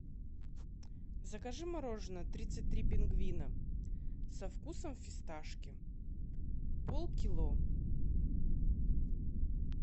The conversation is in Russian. закажи мороженное тридцать три пингвина со вкусном фискашки полкило